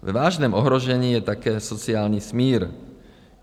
Ve vážném ohrožení je také sociální smír.